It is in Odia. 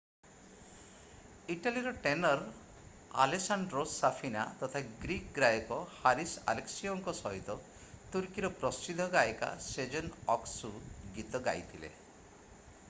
ଇଟାଲୀର ଟେନର୍ ଆଲେସାଣ୍ଡ୍ରୋ ସାଫିନା ତଥା ଗ୍ରୀକ୍ ଗାୟକ ହାରିସ୍ ଆଲେକ୍ସିଓଙ୍କ ସହିତ ତୁର୍କୀର ପ୍ରସିଦ୍ଧ ଗାୟିକା ସେଜେନ୍ ଅକ୍‌ସୁ ଗୀତ ଗାଇଥିଲେ।